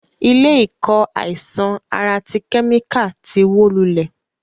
Ilé ìkọ́ àìsàn ara ti kẹ́míkà ti wó lulẹ̀.